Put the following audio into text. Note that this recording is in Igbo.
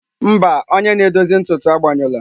Mba, onye na-edozi ntutu agbanyụla.